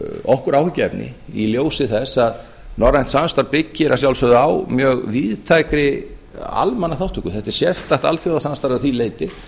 okkur áhyggjuefni í ljósi þess að norrænt samstarf byggir að sjálfsögðu á mjög víðtækri almannaþátttöku þetta er sérstakt alþjóðasamstarf að því leyti